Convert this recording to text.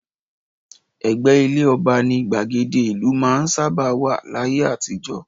Ẹ̀gbẹ́ ilé ọba ni gbàgede ìlú máa ń sábà wà láyé àtijọ́